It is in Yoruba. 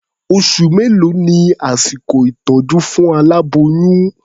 Oṣù mélòó ni àsìkò ìtọ́jú fún aláboyún?